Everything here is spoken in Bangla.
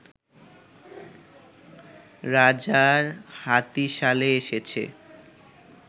রাজার হাতিশালে এসেছে